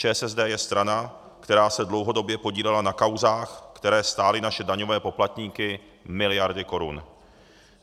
ČSSD je strana, která se dlouhodobě podílela na kauzách, které stály naše daňové poplatníky miliardy korun.